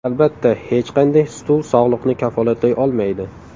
Albatta, hech qanday stul sog‘liqni kafolatlay olmaydi.